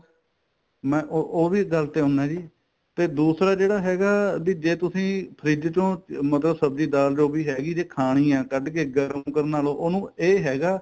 ਮੈਂ ਉਹ ਵੀ ਗੱਲ ਤੇ ਆਉਣਾ ਜੀ ਤੇ ਦੂਸਰਾ ਜਿਹੜਾ ਹੈਗਾ ਬੀ ਜੇ ਤੁਸੀਂ ਫ੍ਰਿਜ ਚੋ ਮਤਲਬ ਸਬਜੀ ਦਾਲ ਜੋਗੀ ਹੈਗੀ ਜੇ ਖਾਣੀ ਏ ਕੱਡ ਕੇ ਗਰਮ ਕਰਨਾ ਤਾਂ ਉਹਨੂੰ ਇਹ ਹੈਗਾ